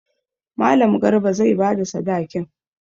Mallam Garba zai ba da sadakin.